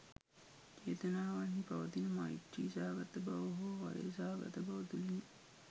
චේතනාවන්හි පවතින මෛත්‍රි සහගත බව හෝ වෛර සහගත බව තුළිනි.